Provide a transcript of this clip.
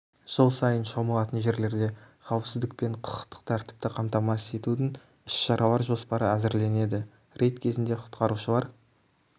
жыл сайын шомылатын жерлерде қауіпсіздік пен құқықтық тәртіпті қамтамасыз етудің іс-шаралар жоспары әзірленеді рейд кезінде құтқарушылар